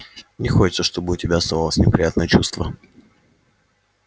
не хочется чтобы у тебя осталось неприятное чувство